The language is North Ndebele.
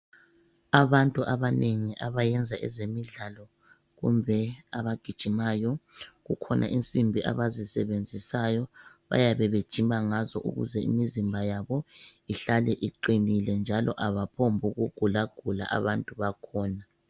Abantu abanengi abayenza ezemidlalo kumbe abagijimayo kukhona insimbi abazisebenzisayo bayabe bejima ngazo ukuze imizimba yabo ihlale iqinile njalo abaphombuku ' gulagula abantu bakhona.